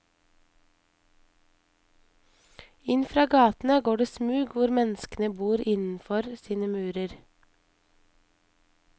Inn fra gatene går det smug hvor menneskene bor innenfor sine murer.